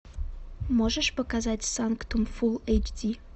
можешь показать санктум фул эйч ди